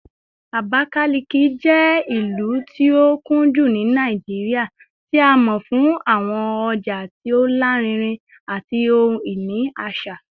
Abakalaki jẹ ilu ti o kunju ni Naijiria, ti a mọ fun awọn ọja ti o larinrin ati ohun-ini aṣa